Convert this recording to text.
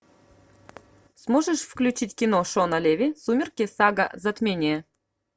сможешь включить кино шона леви сумерки сага затмение